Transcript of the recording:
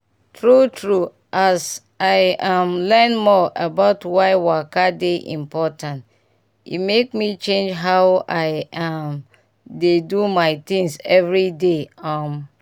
true true as i um learn more about why waka dey important e make me change how i um dey do my things everyday. um